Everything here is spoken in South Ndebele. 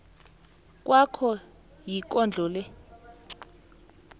kwakho ikondlo le